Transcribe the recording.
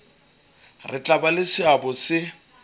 tla ba le seabo se